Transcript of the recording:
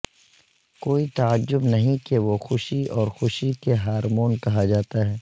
کوئی تعجب نہیں کہ وہ خوشی اور خوشی کے ہارمون کہا جاتا ہے